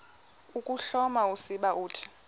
ukuhloma usiba uthi